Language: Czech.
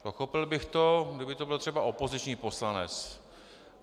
Pochopil bych to, kdyby to byl třeba opoziční poslanec.